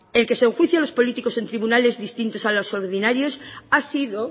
en que se enjuicia a los políticos en tribunales distintos a los ordinarios ha sido